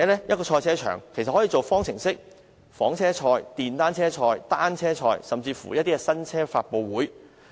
一個賽車場可以用作舉行方程式賽事、房車賽、電單車賽、單車賽，甚至新車發布會。